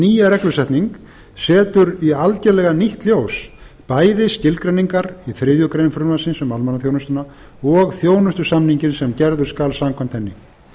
nýja reglusetning setur í algerlega nýtt ljós bæði skilgreiningar í þriðju greinar frumvarpsins um almannaþjónustuna og þjónustusamninginn sem gerður skal samkvæmt henni